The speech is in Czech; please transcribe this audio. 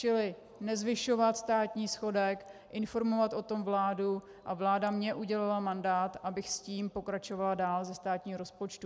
Čili nezvyšovat státní schodek, informovat o tom vládu, a vláda mi udělila mandát, abych s tím pokračovala dál - ze státního rozpočtu.